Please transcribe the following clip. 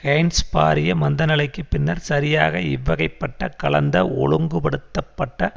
gains பாரிய மந்தநிலைக்கு பின்னர் சரியாக இவ்வகைப்பட்ட கலந்த ஒழுங்குபடுத்தப்பட்ட